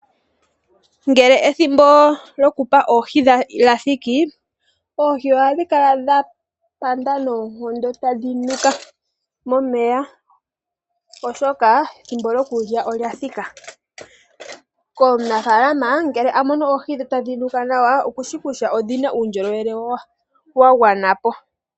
Ngele ethimbo lyokupa oohi lyathiki oohi ohadhi kala dha panda noonkondo tadhi nuka momeya oshoka ethimbo lyokulya olya thika. Komunafaalama ngele a mono oohi tadhi nuka okushi kutya odhina uundjolowele wa gwana po.